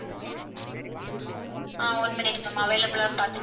ஆஹ் one minute ma'am available ஆன்னு பாத்து~